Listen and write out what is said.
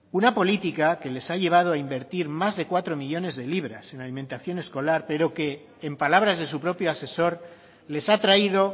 una política que les ha llevado a invertir más de cuatro millónes de libras en alimentación escolar pero que en palabras de su propio asesor les ha traído